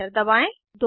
enter दबाएं